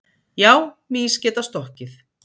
Já, mýs geta stokkið.